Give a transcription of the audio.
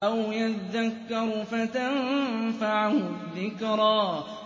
أَوْ يَذَّكَّرُ فَتَنفَعَهُ الذِّكْرَىٰ